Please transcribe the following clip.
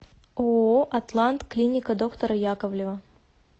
ооо атлант клиника доктора яковлева